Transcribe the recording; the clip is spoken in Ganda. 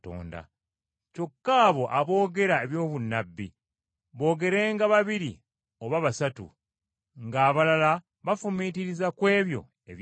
Kyokka abo aboogera eby’obunnabbi boogerenga babiri oba basatu, ng’abalala bafumiitiriza ku ebyo ebyogerwa.